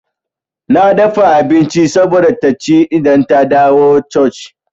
Na dafa abinci saboda taci idan ta dawo coci.